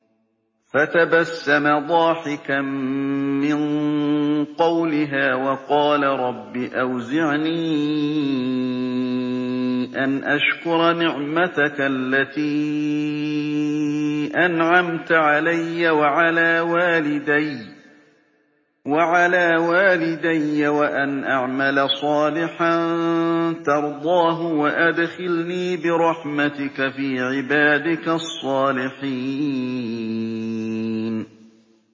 فَتَبَسَّمَ ضَاحِكًا مِّن قَوْلِهَا وَقَالَ رَبِّ أَوْزِعْنِي أَنْ أَشْكُرَ نِعْمَتَكَ الَّتِي أَنْعَمْتَ عَلَيَّ وَعَلَىٰ وَالِدَيَّ وَأَنْ أَعْمَلَ صَالِحًا تَرْضَاهُ وَأَدْخِلْنِي بِرَحْمَتِكَ فِي عِبَادِكَ الصَّالِحِينَ